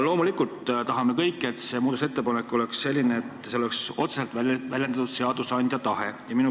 Loomulikult tahame kõik, et see muudatusettepanek oleks selline, et seal oleks otseselt väljendatud seadusandja tahet.